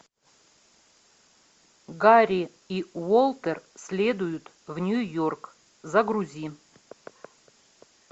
гарри и уолтер следуют в нью йорк загрузи